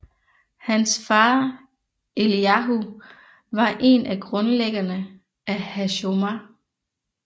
Hans far Eliyahu var en af grundlæggerne af Hashomer